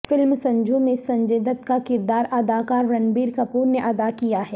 film Sanju میں سنجے دت کا کردار اداکار رنبیر کپور نے ادا کیا ہے